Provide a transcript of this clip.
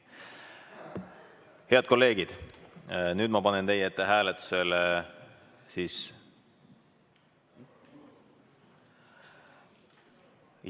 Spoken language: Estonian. Head kolleegid, nüüd ma panen teie ette hääletusele.